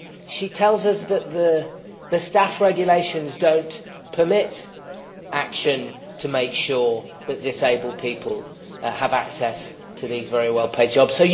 She tells us that the Staff Regulations do not permit action to make sure that disabled people have access to these very well paid jobs.